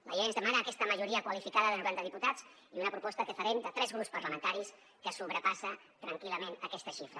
la llei ens demana aquesta majoria qualificada de noranta diputats i una proposta que farem de tres grups parlamentaris que sobrepassa tranquil·lament aquesta xifra